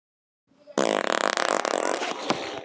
Í gærkvöldi skrifaði ég bréf til pabba.